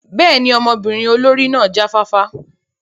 Bẹ́ẹ̀ni, ọmọbirin olori náa ja fafa.